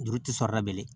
Juru ti sɔrɔ ka bilen